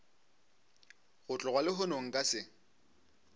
go tloga lehono nka se